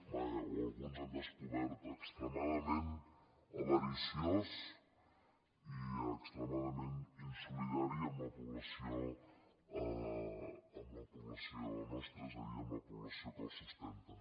vaja o alguns han descobert extremadament avariciós i extremadament insolidari amb la població nostra és a dir amb la població que el sustenta